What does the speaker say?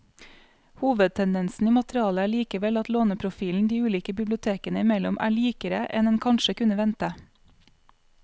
Hovedtendensen i materialet er likevel at låneprofilen de ulike bibliotekene imellom er likere enn en kanskje kunne vente.